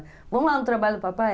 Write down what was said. Vamos lá no trabalho do papai?